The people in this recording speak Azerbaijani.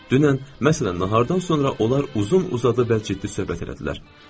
Dünən, məsələn, nahardan sonra onlar uzun-uzadı və ciddi söhbət elədilər.